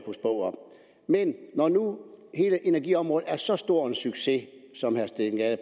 men når nu hele energiområdet er så stor en succes som herre steen gade